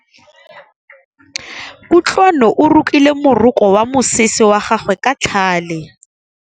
Kutlwanô o rokile morokô wa mosese wa gagwe ka tlhale.